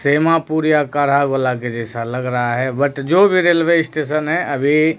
जैसा लग रहा है बट जो भी रेलवे स्टेशन है अभी--